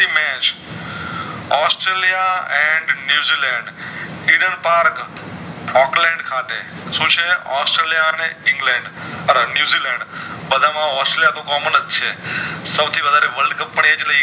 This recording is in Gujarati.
Australia and New Zealand Diner Park ખાતે શું છે ઑસ્ટ્રલિયા અને ઇંગ્લેન્ડ આ ન્યૂઝીલેન્ડ બધા માં ઑસ્ટ્રેલિયા તો Common જ છે સો થી વધારે world cup એજ